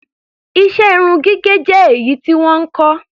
Iṣẹ́ irun gígẹ̀ jẹ́ èyí tí wọ́n ń kọ́.